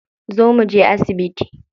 Zo mu je asibiti.